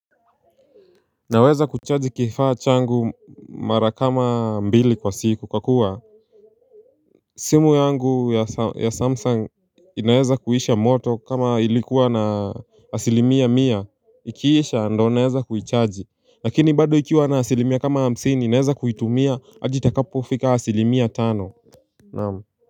Naweza kuchaji kifaa changu mara kama mbili kwa siku kwa kuwa simu yangu ya samsung inaweza kuisha moto kama ilikuwa na asilimia mia Ikiisha ndio naweza kuichaji Lakini bado ikiwa na asilimia kama hamsini naweza kuitumia hadi itakapo fika asilimia tano Naamu.